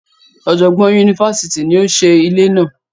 Ọjọgbọn yunifásítì ní o ṣe ilé náà.